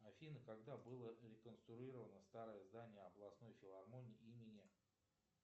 афина когда было реконструировано старое здание областной филармонии имени